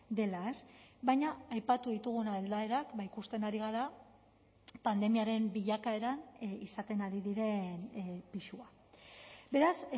dela baina aipatu ditugun aldaerak ikusten ari gara pandemiaren bilakaeran izaten ari diren pisua beraz